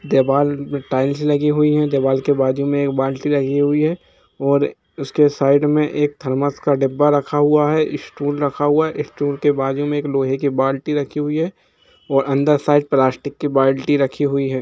दिवाल टाइल्स लगी हुई है दीवाल के बाजु में एक बाल्टी रखी हुई है और उसके साईड मे एक थरमोस का डब्बा रखा हुआ है एक स्टूल रखा हुआ है स्टूल के बाजू मे एक लोहे की बाल्टी रखी हुई है और साइड प्लास्टिक की बाल्टी रखी हुई है।